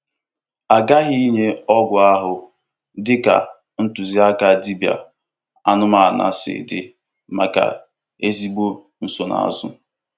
A ghaghị inye ọgwụ ahụ dị ka ntụziaka dibịa anụmanụ si dị maka ezigbo nsonaazụ.